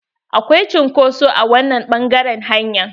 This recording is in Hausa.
Akwai cunkoso a wannan ɓangaren hanyar.